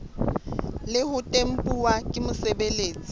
le ho tempuwa ke mosebeletsi